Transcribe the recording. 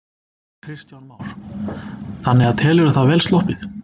Kristján Már: Þannig að telurðu það vel sloppið?